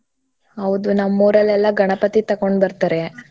ಹೌದೂ ನಮ್ಮ್ ಉರಾಲ್ಲೆಲ್ಲಾ ಗಣಪತಿ ತಕೊಂಡ್ಬರ್ತಾರೆ.